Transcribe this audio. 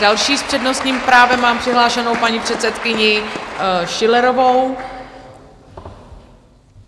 Další s přednostním právem mám přihlášenou paní předsedkyni Schillerovou.